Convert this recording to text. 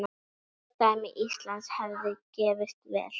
Fordæmi Íslands hefði gefist vel.